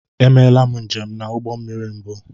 E meela m njem ụgbọ mmiri mbụ.